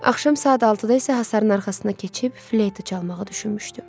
Axşam saat 6-da isə hasarın arxasına keçib fleytə çalmağı düşünmüşdüm.